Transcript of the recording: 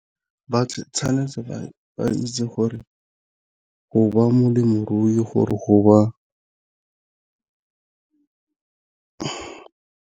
Ba tshwanetse ba itse gore go ba molemirui gore go ba.